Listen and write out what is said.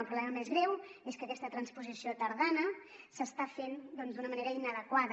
el problema més greu és que aquesta transposició tardana s’està fent d’una manera inadequada